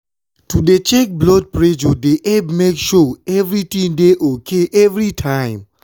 to dey check blood presure dey epp make sure evritin dey ok everi time.